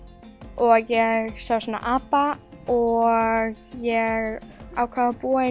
og ég sá svona apa og ég ákvað að búa